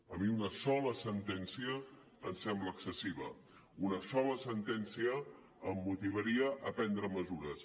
a mi una sola sentència em sembla excessiva una sola sentència em motivaria a prendre mesures